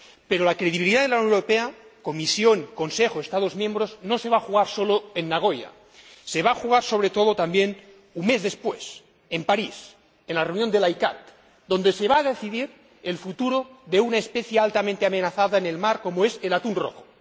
Pero la credibilidad de la Unión Europea Comisión, Consejo y Estados miembros no se va a jugar solo en Nagoya también se va a jugar, sobre todo, un mes después, en París, en la reunión de la ICAT, donde se va a decidir el futuro de una especie altamente amenazada en el mar como es el atún rojo.